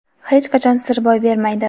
hech qachon sir boy bermaydi.